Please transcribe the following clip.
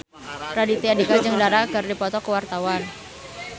Raditya Dika jeung Dara keur dipoto ku wartawan